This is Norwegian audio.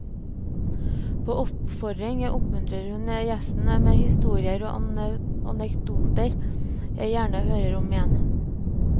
På oppfordring muntrer hun gjesten med historier og anekdoter jeg gjerne hører om igjen.